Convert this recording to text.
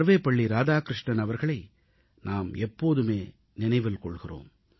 சர்வபள்ளி ராதாகிருஷ்ணன் அவர்களை நாம் எப்போதுமே நினைவில் கொள்கிறோம்